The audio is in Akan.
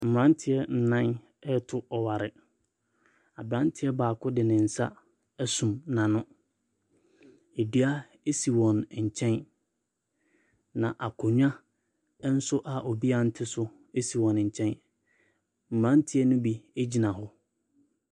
Mberantiɛ nan ɛɛto ɔware. Aberanteɛ baako de ne nsa esum n'ano. Edua esi wɔn nkyɛn na akonwa ɛnso a obia nte so esi wɔn nkyɛn. Mberantiɛ ne bi egyina hɔ.